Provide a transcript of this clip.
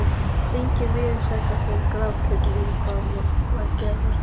Enginn viðstaddra fór í grafgötur um hvað var að gerast.